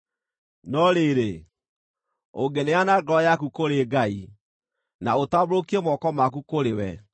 “No rĩrĩ, ũngĩneana ngoro yaku kũrĩ Ngai, na ũtambũrũkie moko maku kũrĩ we,